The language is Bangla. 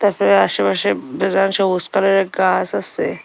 আশেপাশে ডিজাইন সবুজ কালারের গাছ আছে।